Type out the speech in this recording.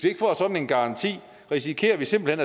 ikke får sådan en garanti risikerer vi simpelt